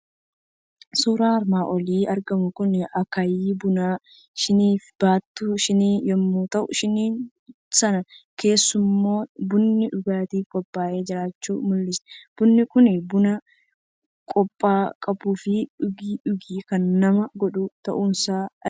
Suuraan armaan olitti argamu kun, akkaayi Bunaa, shiniifi baattuu shinii yommuu ta'u, shinii sana keeesammoo bunnii dhugaatiif qophaa'ee jiraachuu mul'isa. Bunni kunis buna kobba qabuufi dhugii dhugi kan nama godhu ta'usaa argina.